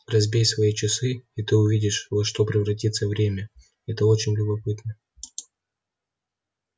разбей свои часы и ты увидишь во что превратится время это очень любопытно